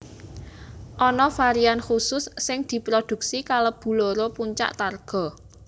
Ana varian khusus sing diprodhuksi kalebu loro puncak Targa